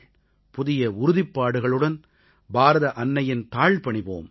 புதிய உறுதிப்பாடுகளுடன் பாரத அன்னையின் தாள் பணிவோம்